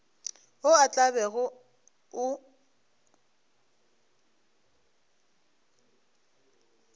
wo o tla bego o